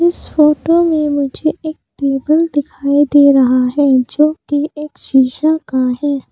इस फोटो में मुझे एक टेबल दिखाई दे रहा है जो कि एक शीशा का है।